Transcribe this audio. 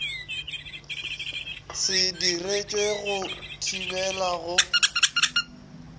se diretšwe go thibela go